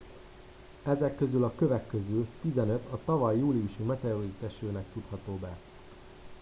ezek közül a kövek közül tizenöt a tavaly júliusi meteoritesőnek tudható be